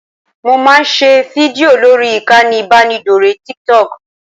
Mo máa ń ṣe fídìò lórí ìkànnì ìbánidọ́rẹ̀ẹ́ Tiktok